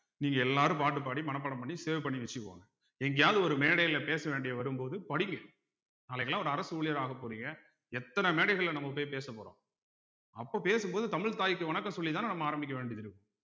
நீங்க எல்லாரும் பாட்டு பாடி மனப்பாடம் பண்ணி save பண்ணி வச்சுக்கோங்க எங்கயாவது ஒரு மேடையில பேச வேண்டியது வரும்போது படிங்க நாளைக்கெல்லாம் ஒரு அரசு ஊழியராகப் போறீங்க எத்தனை மேடைகள்ல நம்ம போய் பேசப்போறோம் அப்ப பேசும்போது தமிழ் தாய்க்கு வணக்கம் சொல்லித்தானே நம்ம ஆரம்பிக்க வேண்டியது இருக்கும்